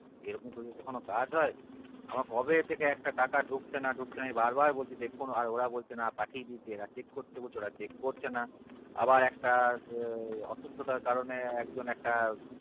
এরকম করে কখনো কাজ হয় আমার কবে থেকে একটা টাকা ঢুকছে না ঢুকছে না আমি বার বার বলছি দেখুন আর ওরা বলছে না পাঠিয়ে দিয়েছি এরা check করতে বলছে ওরা check করছেনা আবার একটা অসুস্থতার কারণে এক জন একটা